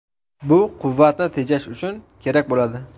Bu quvvatni tejash uchun kerak bo‘ladi.